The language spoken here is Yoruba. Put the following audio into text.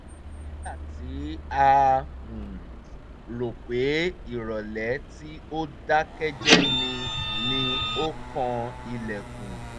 nígbà tí a rò pé ìrọ̀lẹ́ tí ó dákẹ́jẹ́ ni ni o kan ilẹ̀kùn